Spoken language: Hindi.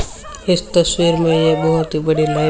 इस तस्वीर में ये बहुत ही बड़ी लाइ--